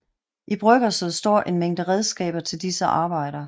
I bryggerset står en mængde redskaber til disse arbejder